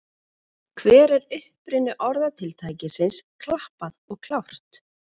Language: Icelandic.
Hver er uppruni orðatiltækisins klappað og klárt?